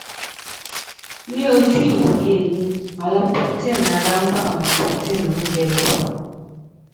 ní ojú ìwòye mi àwọn protein ara ń bá àwọn protein oúnjẹ lò